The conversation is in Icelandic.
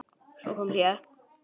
Svo kom hlé.